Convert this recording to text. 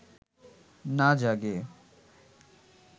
না জাগে